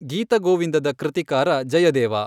ಗೀತ ಗೋವಿಂದದ ಕೃತಿಕಾರ ಜಯದೇವ.